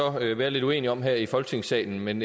være lidt uenige om her i folketingssalen men